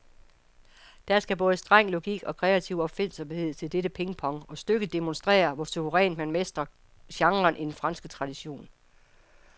Der skal både streng logik og kreativ opfindsomhed til dette pingpong, og stykket demonstrerer, hvor suverænt man mestrer genren i den franske tradition.